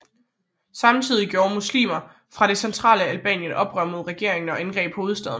Samtidig gjorde muslimer fra det centrale Albanien oprør mod regeringen og angreb hovedstaden